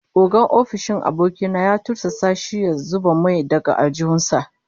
Ogan ofishin su aboki na ya tursasa shi ya zuba mai daga aljihun sa